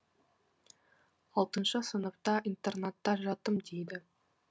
алтыншы сыныпта интернатта жатым дейді